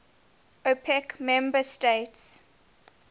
opec member states